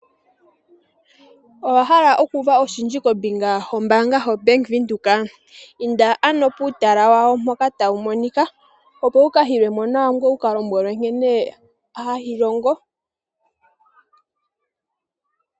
Owa hala okuuva oshindji kombinga yombaanga yoBank Windhoek? Inda ano puutala wawo mpoka tawu monika opo wu ka hilwe mo nawa ngoye wu ka lombwelwe nkene hayi longo.